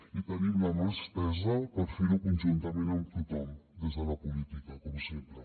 i tenim la mà estesa per fer ho conjuntament amb tothom des de la política com sempre